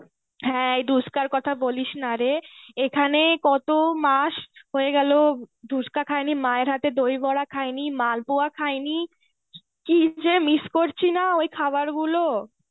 হ্যাঁ, এই ধুস্কার কথা বলিসনারে. এখানে কতো মাস হয়ে গেলো ধুস্কা খায়নি, মায়ের হাতে দইবড়া খায়নি, মালপোয়া খায়নি. কি যে miss করছিনা ওই খাবারগুলো.